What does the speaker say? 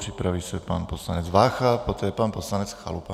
Připraví se pan poslanec Vácha, poté pan poslanec Chalupa.